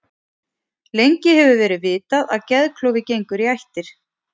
Lengi hefur verið vitað að geðklofi gengur í ættir.